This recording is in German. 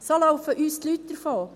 So laufen uns die Leute davon.